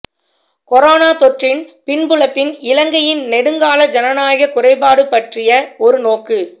corona தொற்றின் பின்புலத்தில் இலங்கையின் நெடுங்கால ஜனநாயக குறைபாடு பற்றிய ஒரு நோக்கு